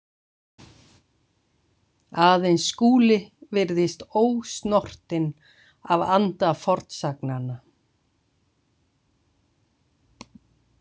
Aðeins Skúli virðist ósnortinn af anda fornsagnanna.